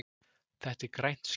Þetta er grænt skip.